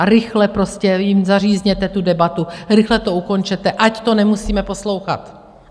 A rychle prostě jim zařízněte tu debatu, rychle to ukončete, ať to nemusíme poslouchat!